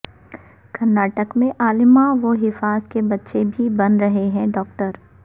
کرناٹک میں علماء و حفاظ کے بچے بھی بن رہے ہیں ڈاکٹر